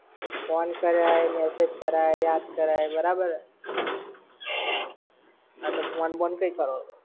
તો phone કરાય, message કરાય, યાદ કરાય. બરાબર. હા તો phone બોન કંઈ કરો છો?